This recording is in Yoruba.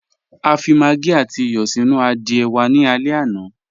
A fi màggí àtì ìyọ́ sínu àdìẹ̀ wà ní àlẹ̀ àná.